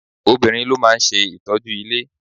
Obìnrin ló máa ń ṣe ìtọ́jú ilé.